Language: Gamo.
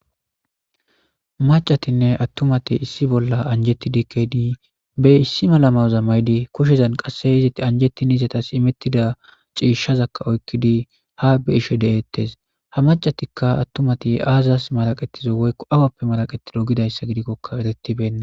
macatinne attumati issi bolla anjetti dikkedii be issi malamaza maydi kushezan qasse eizitt anjettin izatas imettida ciishshazakka oykkidi ha be ishe de7eettes ha macatikka attumati aazas malaqetizo woykko awappe malaqetido gidayssa gidikkokka erettibenna